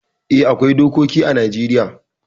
Eh, akwai dokoki ã Najeriya.